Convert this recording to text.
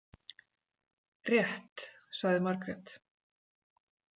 Rétt, sagði Margrét.